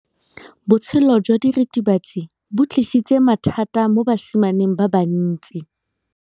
Botshelo jwa diritibatsi ke bo tlisitse mathata mo basimaneng ba bantsi.